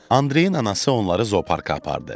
Andreyin anası onları zooparka apardı.